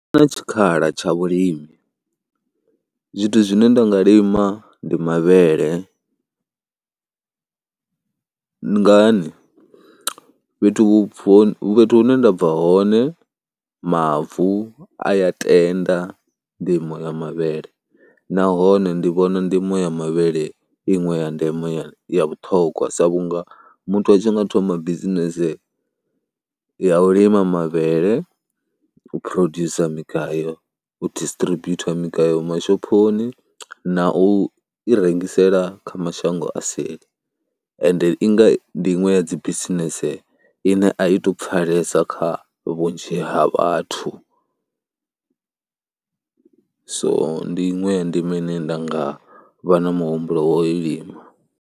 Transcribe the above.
Hu na tshikhala tsha vhulimi, zwithu zwine nda nga lima ndi mavhele, ngani, fhethu afho fhethu hune nda bva hone mavu a ya tenda ndimo ya mavhele nahone ndi vhona ndimo ya mavhele iṅwe ya ndeme ya ya vhuṱhongwa sa vhunga muthu a tshi nga thoma bisinese ya u lima mavhele, u producer migayo, u distributor migayo mashophoni na u i rengisela kha mashango a seli ende i nga ndi u ya dzi bisinese ine a i tou pfhalesa kha vhunzhi ha vhathu. So ndi iṅwe ya ndimo ine nda nga vha na muhumbulo wa u lima.